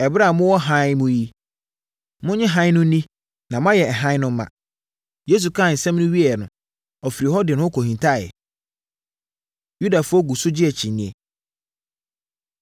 Ɛberɛ a mowɔ hann mu yi, monnye hann no nni na moayɛ hann no mma.” Yesu kaa nsɛm yi wieeɛ no, ɔfirii hɔ de ne ho kɔhintaeɛ. Yudafoɔ Gu So Gye Akyinnyeɛ